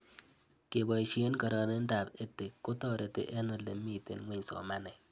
Kepoishe kararindop EdTech kotareti eng' ole mito ng'weny somanet